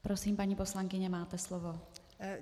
Prosím, paní poslankyně, máte slovo.